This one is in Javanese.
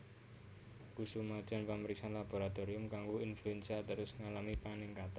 Kasumadyan pamriksan laboratorium kanggo influenza terus ngalami paningkatan